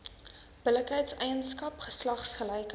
billikheid eienaarskap geslagsgelykheid